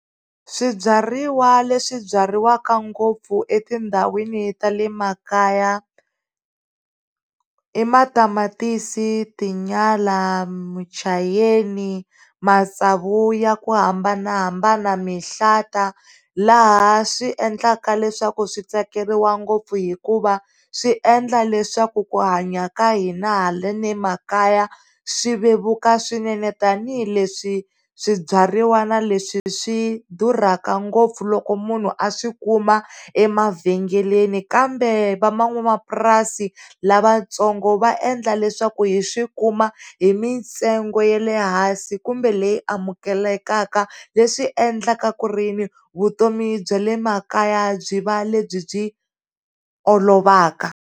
Swibyariwa le swi byariwa ngopfu etindhawini ta le makaya i matamatisi, tinyala, muchayeni, matsavu ya ku hambanahambana, mihlata laha swiendlaka leswaku switsakeriwa ngopfu hikuva swi endla leswaku ku hanya ka hina haleni makaya swi vevuka swinene tanihileswi swibyariwa leswi swi durhaka ngopfu loko munhu a swi kuma emavhengeleni kambe van'wamapurasini lavatsongo va endla leswaku hi swi kuma hi mintsengo ya le hansi kumbe leyi amukelekaka leswi endlaka ku ri vutomi bya le makaya byi va le byi olovaka.